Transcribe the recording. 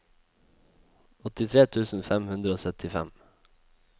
åttitre tusen fem hundre og syttifem